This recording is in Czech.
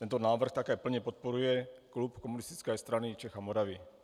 Tento návrh také plně podporuje klub Komunistické strany Čech a Moravy.